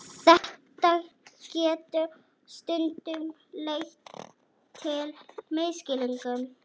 Þetta getur stundum leitt til misskilnings.